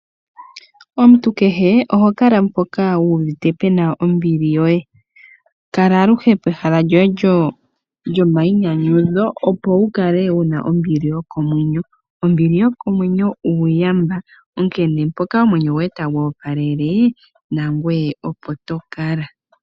Omuntu kehe ohokala mpoka wuuvite pena ombili yoye. Kala aluhe pehala lyoye lyomayinyanyudho opo wukale wu na ombili yokomwenyo. Ombili yokomwenyo uuyamba, onkene mpoka omwenyo goye tagu opalele nangoye opo to kala.